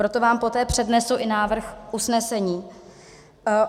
Proto vám poté přednesu i návrh usnesení.